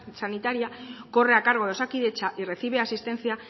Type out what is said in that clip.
sanitaria corre a cargo de osakidetza y recibe asistencia